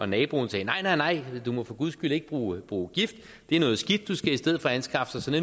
naboen sagde nej nej du må for guds skyld ikke bruge bruge gift det er noget skidt du skal i stedet anskaffe dig